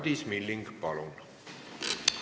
Madis Milling, palun!